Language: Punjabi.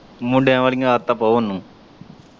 ਮੁੰਡਿਆਂ ਵਾਲਿਆਂ ਆਦਤਾਂ ਪਾਓ ਉਹਨੂੰ।